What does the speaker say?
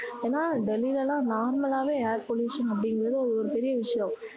ஆனா வெளில எல்லாம் normal ஆவே air pollution அப்படிங்கறது ஒரு பெரிய விஷயம்